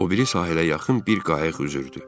O biri sahilə yaxın bir qayıq üzürdü.